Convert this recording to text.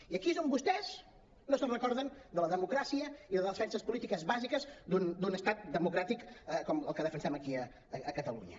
i aquí és on vostès no es recorden de la democràcia i de les defenses polítiques bàsiques d’un estat democràtic com el que defensem aquí a catalunya